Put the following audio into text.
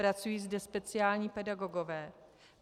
Pracují zde speciální pedagogové.